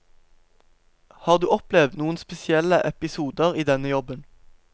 Har du opplevd noen spesielle episoder i denne jobben?